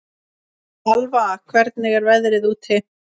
Alva, hvernig er veðrið úti?